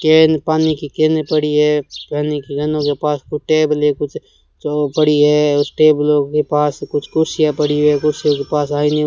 केन पानी की केने पड़ी है पानी की गन्नों के पास कुछ टेबलें कुछ पड़ी है और टेबलों के पास कुछ कुर्सियां पड़ी है कुर्सियों के पास आई --